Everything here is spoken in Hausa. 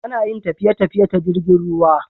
Anayin tafiye tafiye ta jirgin ruwa